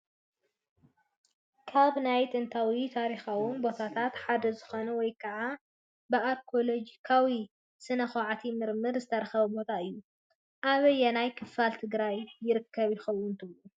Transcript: ካብ ናይ ጥንታውን ታሪካውን ቦታታት ሓደ ዝኾነ ወይ ከዓ ብኣርኬኤሎጂካዊ ስነ ኳዕትን ምርምርን ዝተረኸበ ቦታ እዩ፡፡ ኣበየናይ ክፋል ትግራይ ይርከብ ይኸውን ትብሉ?